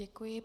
Děkuji.